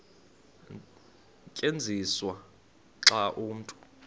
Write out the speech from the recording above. tyenziswa xa umntu